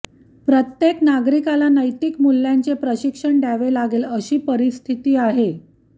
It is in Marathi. प्रत्येक नागरिकाला नैतिक मूल्यांचे प्रशिक्षण द्यावे लागेल अशी परिस्थिती आहे